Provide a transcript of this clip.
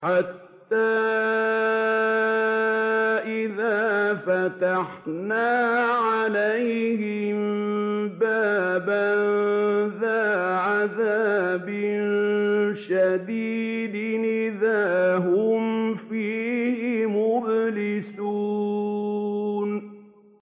حَتَّىٰ إِذَا فَتَحْنَا عَلَيْهِم بَابًا ذَا عَذَابٍ شَدِيدٍ إِذَا هُمْ فِيهِ مُبْلِسُونَ